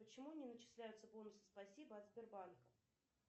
почему не начисляются бонусы спасибо от сбербанка